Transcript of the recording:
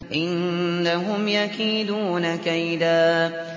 إِنَّهُمْ يَكِيدُونَ كَيْدًا